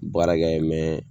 Baarakɛ mɛn